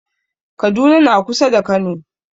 Kaduna na kusa da kano